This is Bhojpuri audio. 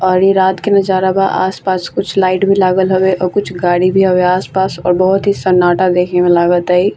और इ रात के नजारा बा आस-पास कुछ लाइट भी लगल हवे और कुछ गाड़ी भी हवे आस-पास और बहुत ही सन्नाटा दखे में लगाता इ।